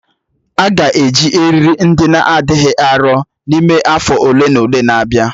A ga-eji eriri ndị na adịghị arọ n'ime afọ ole na ole na-abịa